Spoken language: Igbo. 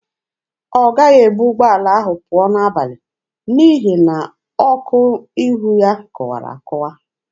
Ọ gaghị ebu ụgbọala ahụ pụọ n'abalị n'ihi na ọkụ ihu ya kụwara akụwa.